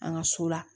An ka so la